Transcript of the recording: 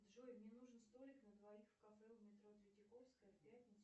джой мне нужен столик на двоих в кафе у метро третьяковская в пятницу